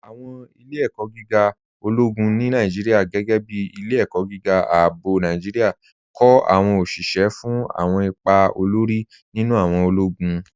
Awọn ilẹ̀-ẹ̀kọ̀ gígà ọlọ́gún ni Nàìjíríà, gẹgẹ́ bí Ilẹ̀-ẹ̀kọ̀ gígà Ààbọ̀ Nàìjíríà, kọ awọn oṣiṣẹ́ fún awọn ìpà òlórí nínu awọn ọlọ́gún.